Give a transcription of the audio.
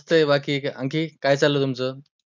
मस्त आहे बाकी, आणखी काय चालू आहे तुमचं?